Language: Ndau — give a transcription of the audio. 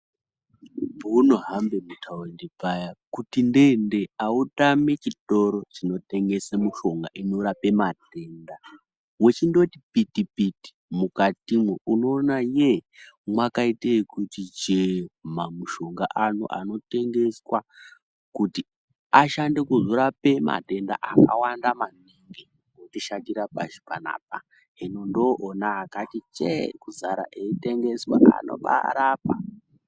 Pounohambe mutaundi paya kuti nde-nde hautami chitoro chinotengese mishonga inorape matenda. Wechindoti piti-piti mukatomwo unoona yee mwakaite yekuti chee mamushonga ano anotengeswa kuti ashande kuzorape matenda akawanda maningi otishatira pashi pano apa. Hino ndooona akati chee kuzara eitengeswa, anobarapa.